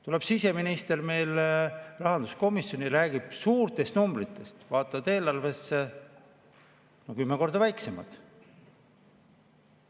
Tuleb siseminister meile rahanduskomisjoni ja räägib suurtest numbritest, aga kui vaatad eelarvesse, siis need numbrid on kümme korda väiksemad.